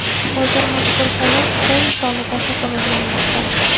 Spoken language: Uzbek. Hozir mazkur holat Xitoy misolida takrorlanmoqda.